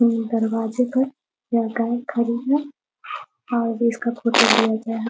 ये दरवाजे पर लगता है खड़े हैं और इसका फोटो लिया गया है।